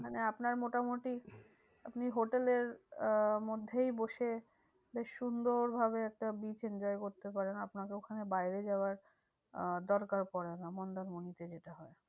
মানে আপনার মোটামুটি আপনি hotel এর আহ মধ্যেই বসে বেশ সুন্দর ভাবে একটা beach enjoy করতে পারেন। আপনাকে ওখানে বাইরে যাওয়ার আহ দরকার পরে না মন্দারমণিতে যেটা হয়।